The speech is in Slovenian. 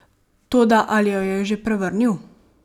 Toda ali jo je že prevrnil?